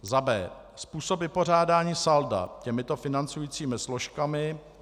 B. Způsob vypořádání salda těmito financujícími složkami